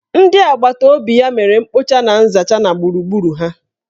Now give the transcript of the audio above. Ndị agbataobi ya mere mkpocha na nzacha na gburugburu ha.